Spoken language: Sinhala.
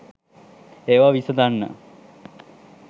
ඒවා විසඳන්න.